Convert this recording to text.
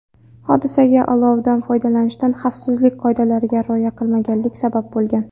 Hodisaga olovdan foydalanishda xavfsizlik qoidalariga rioya qilmaganlik sabab bo‘lgan.